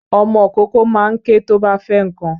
Ọmọ kókó ma ń ké tó bá fẹ́ nnkan.